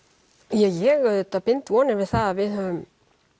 ég auðvitað bind vonir við að við höfum